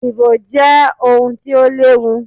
Ibò je ohun ti o léwu